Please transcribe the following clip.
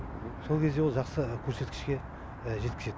сол кезде ол жақсы көрсеткішке жеткізеді